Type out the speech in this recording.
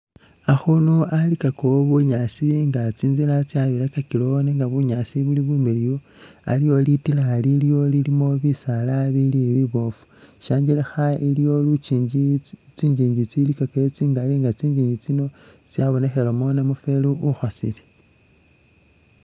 Akhunu alikakawo bunyaasi nga tsinzila tsabirakakilawo nenga bunyaasi buli bumiliyu ,aliwo litila liliwo lilimo bisaala bili biboofu, shyangelekha iliyo lukyinji tsi tsinjinji tsilikakayo tsingali nga tsinjinji tsino tsabonekhelemo namufeli ukhosele